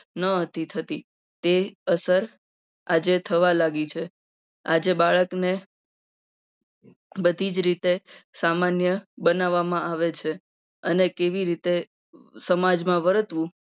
ન હતી થતી. તે અસર આજે થવા લાગી છે. આજે બાળકને બધી રીતે સામાન્ય બનાવવામાં આવે છે. અને કેવી રીતે સમાજમાં વર્તવું